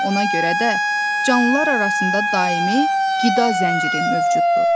Ona görə də canlılar arasında daimi qida zənciri mövcuddur.